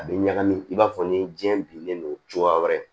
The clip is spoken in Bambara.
A bɛ ɲagami i b'a fɔ ni diɲɛ bilen do cogoya wɛrɛ